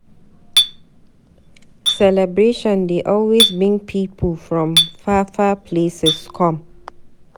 Celebration dey always bring pipu from far far places come.